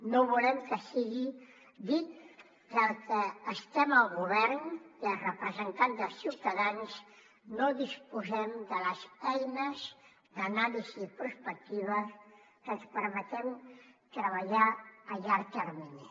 no volem que sigui dit que els que estem al govern i els representants dels ciutadans no disposem de les eines d’anàlisi i prospectiva que ens permeten treballar a llarg termini